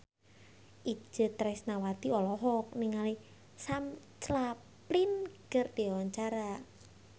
Itje Tresnawati olohok ningali Sam Claflin keur diwawancara